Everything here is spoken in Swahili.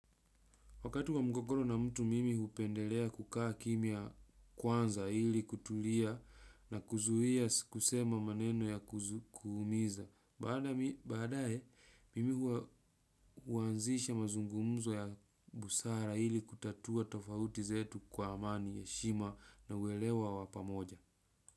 Wakati wa mgogoro na mtu mimi hupendelea kukaa kimya kwanza ili kutulia na kuzuia kusema maneno ya kuumiza. Badae mimi huanzisha mazungumzo ya busara ili kutatua tofauti zetu kwa amani eshima na uwelewa wa pamoja.